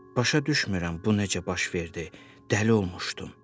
Başa düşmürəm bu necə baş verdi, dəli olmuşdum.